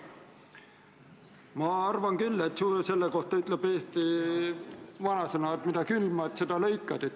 Mina arvan, et selle kohta ütleb eesti vanasõna, et mida külvad, seda lõikad.